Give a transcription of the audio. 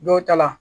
Dɔw ta la